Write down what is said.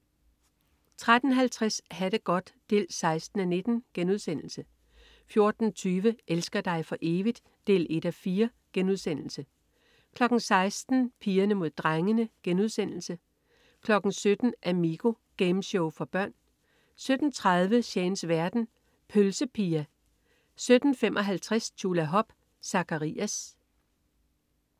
13.50 Ha' det godt 16:19* 14.20 Elsker dig for evigt? 1:4* 16.00 Pigerne mod drengene* 17.00 Amigo. Gameshow for børn 17.30 Shanes verden. Pølse Pia 17.55 Tjulahop. Zakkarias